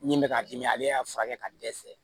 Min bɛ k'a dimi ale y'a furakɛ ka dɛsɛ